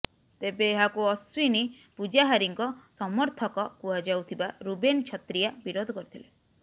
ତେବେ ଏହାକୁ ଅଶ୍ବିନୀ ପୂଜାହାରୀଙ୍କ ସମର୍ଥକ କୁହାଯାଉଥିବା ରୁବେନ ଛତ୍ରିଆ ବିରୋଧ କରିଥିଲେ